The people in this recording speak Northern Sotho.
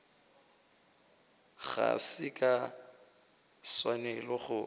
ga se ka swanela go